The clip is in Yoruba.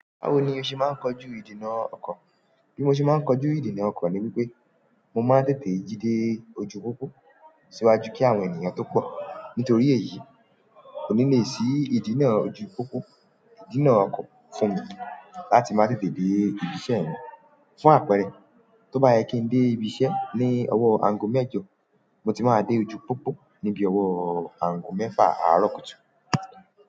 Báwo ni o ṣe máa ń kojú ìdènà ọkọ̀? Bí mo ṣe máa ń kojú ìdènà ọkọ̀ ni wípé mo máa ń tètè jí dé ojú pópó síwájú kí àwọn ènìyàn tó pọ̀. Nítorí èyí kò ní le sí ìdinà ojú pópó, ìdinà ọkọ̀ fún mi láti máa tètè dé ibi iṣẹ́ mi. Fún àpẹẹrẹ, tó bá yẹ kí ń dé ibi iṣẹ́ ní ọwọ́ aago mẹ́jọ, mo ti máa dé ojú pópó níbi ọwọ́ aago mẹ́fà àárọ̀ kùtù.